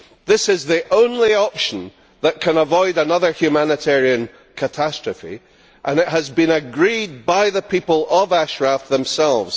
This is the only option that can avoid another humanitarian catastrophe, and it has been agreed by the people of Ashraf themselves.